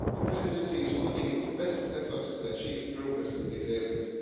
The Presidency is putting its best efforts forward to achieve progress in these areas.